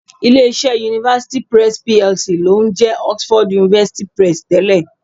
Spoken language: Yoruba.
Ilé-iṣẹ́ University Press PLC ló ń jẹ́ Oxford University Press tẹ́lẹ̀